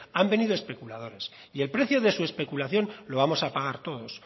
han venido especuladores y el precio de su especulación lo vamos a pagar todos